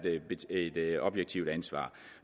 objektivt ansvar